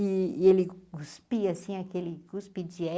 E ele cuspia, assim, aquele cuspe de